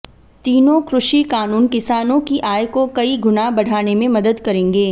तीनों कृषि कानून किसानों की आय को कई गुना बढ़ाने में मदद करेंगे